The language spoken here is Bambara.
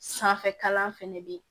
Sanfɛ kalan fɛnɛ bɛ ye